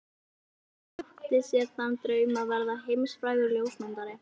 Pabbi átti sér þann draum að verða heimsfrægur ljósmyndari.